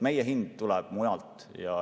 Meie hind tuleb mujalt.